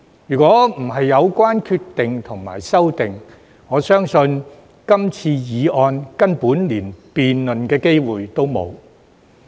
如果不是因為有關決定和修訂，我相信今次議案根本連辯論的機會也沒有。